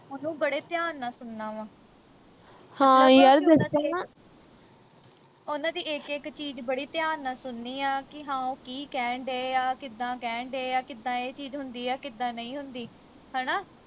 ਉਹਨੂੰ ਬੜੇ ਧਿਆਨ ਨਾਲ ਸੁਣਨਾ ਵਾ ਉਨ੍ਹਾਂ ਦੀ ਇਕ ਇਕ ਚੀਜ ਬੜੀ ਧਿਆਨ ਨਾਲ ਸੁਨਣੀ ਆ ਕਿ ਹਾਂ ਉਹ ਕੀ ਕਹਿਣ ਦਏ ਆ ਕਿੱਦਾਂ ਕਹਿਣ ਦਏ ਆ ਕਿੱਦਾਂ ਇਹ ਚੀਜ ਹੁੰਦੀ ਆ ਕਿੱਦਾਂ ਨਹੀ ਹੁੰਦੀ ਹਣਾ